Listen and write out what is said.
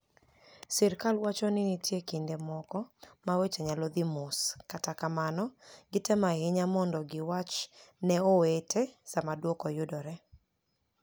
Sirkal wacho nii niitie kinide moko ma weche niyalo dhi mos, kata kamano, gitemo ahiniya monido giwach ni e owete Saama dwoko yudore.